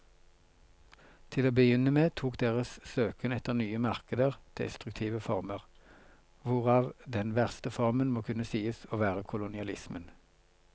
Til å begynne med tok deres søken etter nye markeder destruktive former, hvorav den verste formen må kunne sies å være kolonialismen.